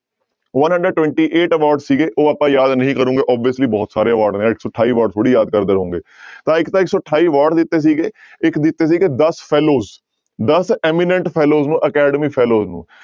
One hundred twenty eight award ਸੀਗੇ ਉਹ ਆਪਾਂ ਯਾਦ ਨਹੀਂ ਕਰੋਂਗੇ obviously ਬਹੁਤ ਸਾਰੇ award ਨੇ ਇੱਕ ਸੌ ਅਠਾਈ award ਥੋੜ੍ਹੀ ਯਾਦ ਕਰਦੇ ਰਹੋਂਗੇ ਤਾਂ ਇੱਕ ਤਾਂ ਇੱਕ ਸੌ ਅਠਾਈ award ਦਿੱਤੇ ਸੀਗੇ ਇੱਕ ਦਿੱਤੇ ਸੀਗੇ ਦਸ fellows ਦਸ imminent fellows ਨੂੰ academy fellows ਨੂੰ